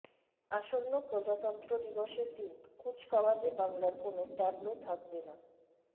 আসন্ন প্রজাতন্ত্র দিবসের দিন কুচকাওয়াজে বাংলার কোনও ট্যাবলো থাকবে না